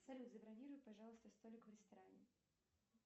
салют забронируй пожалуйста столик в ресторане